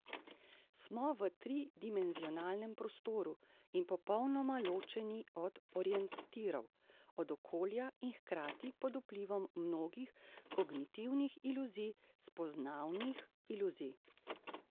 Smo v tridimenzionalnem prostoru in popolnoma ločeni od orientirov, od okolja in hkrati pod vplivom mnogih kognitivnih iluzij, spoznavnih iluzij.